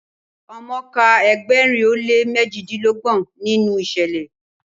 omo kà Egberin o le mejidinlọgbọn ninu iṣẹlẹ